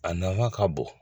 A nafa ka bon